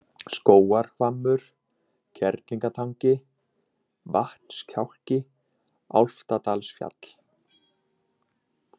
Skógarhvammur, Kerlingatangi, Vatnskjálki, Álftadalsfjall